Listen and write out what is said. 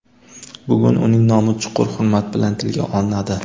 Bugun uning nomi chuqur hurmat bilan tilga olinadi.